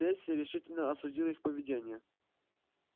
перси решительно осудил их поведение